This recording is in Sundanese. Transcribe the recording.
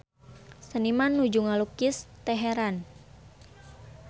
Seniman nuju ngalukis Teheran